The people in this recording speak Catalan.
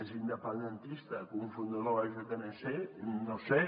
més independentista que un fundador de la jnc no ho sé